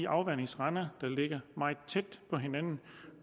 afvandingsrender der ligger meget tæt på hinanden